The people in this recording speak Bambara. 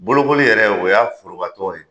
Bolokoli yɛrɛ, o y'a forobatɔgɔ ye.